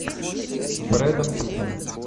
с брэдом питтом